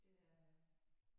Det er øh